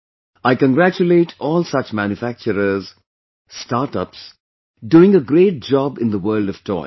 I congratulate all such manufacturers, Startups, doing a great job in the world of toys